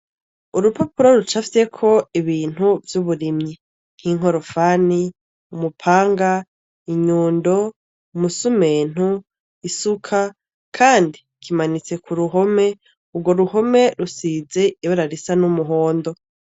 Urupapuro rucafyeko ibintu vy'uburimyi nk'inkorofani, umupanga, inyundo, umusumenu, isuka kandi kimanitse ku ruhome. Urwo ruhome rusize ibara risa n'umuhondo.